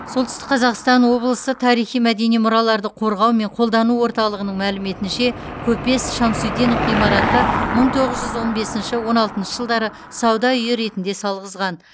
солтүстік қазақстан облысы тарихи мәдени мұраларды қорғау мен қолдану орталығының мәліметінше көпес шамсутдинов ғимараты мың тоғыз жүз он бесінші он алтыншы жылдары сауда үйі ретінде салғызған